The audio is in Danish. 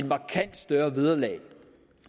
markant større vederlag